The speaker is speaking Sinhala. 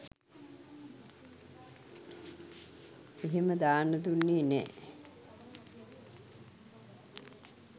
එහෙම දාන්න දුන්නේ නෑ.